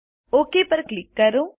okay પર click કરો